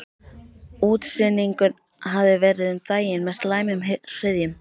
Útsynningur hafði verið um daginn með slæmum hryðjum.